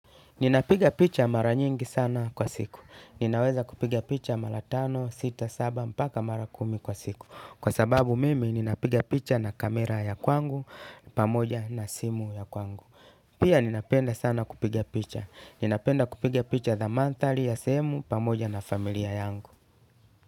Ninapiga picha mara nyingi sana kwa siku. Ninaweza kupiga picha mara tano, sita, saba, mpaka mara kumi kwa siku. Kwasababu mimi, ninapiga picha na kamera ya kwangu, pamoja na simu ya kwangu. Pia ninapenda sana kupigya picha. Ninapenda kupiga picha za mandhari ya sehemu, pamoja na familia yangu.